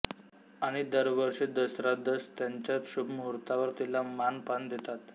आणि दरवर्षी दसरादस ऱ्याच्या शुभ मुहूर्तावर तिला मान पान देतात